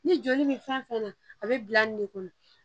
Ni joli bɛ fɛn fɛn na a bɛ bila nin de kɔnɔ